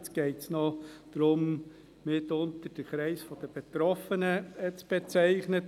Jetzt geht es mitunter noch darum, den Kreis der Betroffenen zu bezeichnen.